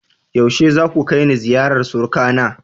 Yaushe zaku kai ni ziyarar surukana?